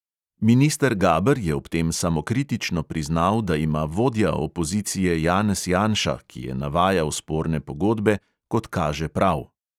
Minister gaber je ob tem samokritično priznal, da ima vodja opozicije janez janša, ki je navajal sporne pogodbe, "kot kaže, prav".